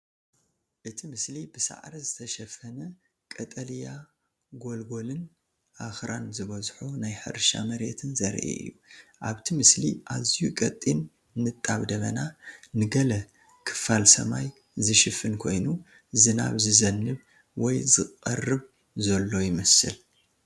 እቲ ምስሊ ብሳዕሪ ዝተሸፈነ ቀጠልያ ጎልጎልን ኣኽራን ዝበዝሖ ናይ ሕርሻ መሬትን ዘርኢ እዩ። ኣብቲ ምስሊ ኣዝዩ ቀጢን ንጣብ ደበና ንገለ ክፋል ሰማይ ዝሽፍን ኮይኑ ዝናብ ዝዘንብ ወይ ዝቐርብ ዘሎ ይመስል።